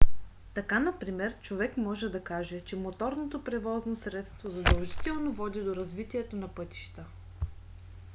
така например човек може да каже че моторното превозно средство задължително води до развитието на пътища